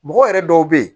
Mɔgɔ yɛrɛ dɔw bɛ ye